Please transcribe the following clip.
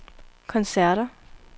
koncerter